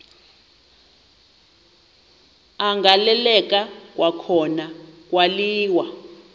agaleleka kwakhona kwaliwa